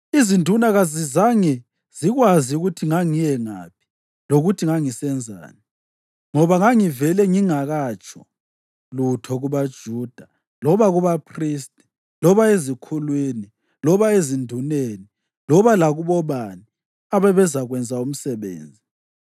Izinduna kazizange zikwazi ukuthi ngangiye ngaphi lokuthi ngangisenzani, ngoba ngangivele ngingakatsho lutho kubaJuda loba kubaphristi loba ezikhulwini loba ezinduneni loba lakubobani ababezakwenza umsebenzi.